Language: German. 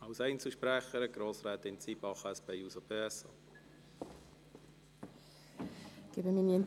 Ich erteile Grossrätin Zybach als Einzelsprecherin das Wort.